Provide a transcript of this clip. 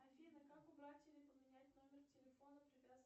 афина как убрать или поменять номер телефона привязанный